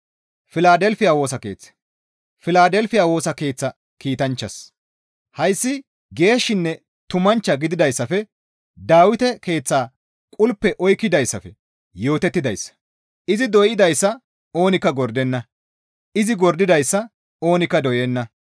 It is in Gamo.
«Filadelfiya Woosa Keeththa kiitanchchaas, Hayssi geeshshinne tumanchcha gididayssafe Dawite keeththaa qulpe oykkidayssafe yootettidayssa; izi doydayssa oonikka gordenna; izi gordidayssa oonikka doyenna.